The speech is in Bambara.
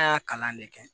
An y'a kalan de kɛ